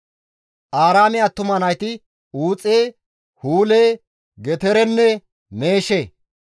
Aaraame attuma nayti Uuxe, Huule, Geterenne Meeshe.